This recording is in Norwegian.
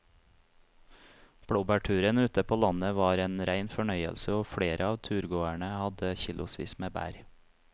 Blåbærturen ute på landet var en rein fornøyelse og flere av turgåerene hadde kilosvis med bær.